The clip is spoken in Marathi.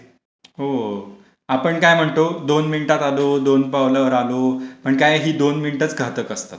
हो, आपण काय म्हणतो, दोन मिनिटात आलो, दोन पावलांवर आलो, अन काय ही दोन मिनिटं च घातक असतात,